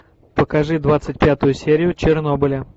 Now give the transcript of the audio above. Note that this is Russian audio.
покажи двадцать пятую серию чернобыля